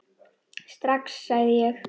Strax, sagði ég.